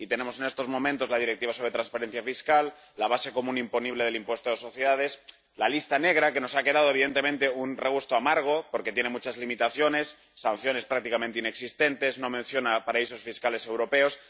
Y tenemos en estos momentos la Directiva sobre transparencia fiscal, la base común imponible del impuesto de sociedades, la lista negra, que nos ha dejado evidentemente un regusto amargo, porque tiene muchas limitaciones, sanciones prácticamente inexistentes, no menciona paraísos fiscales europeos.